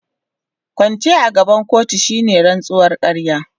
Kwance a gaban kotu shine rantsuwar ƙarya.